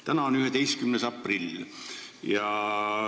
" Täna on 11. aprill.